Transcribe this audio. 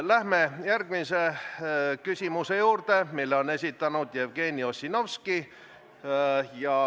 Läheme järgmise küsimuse juurde, mille on esitanud Jevgeni Ossinovski.